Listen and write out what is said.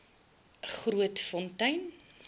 grootfontein